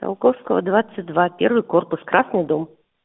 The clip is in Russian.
циолковского двадцать два первый корпус красный дом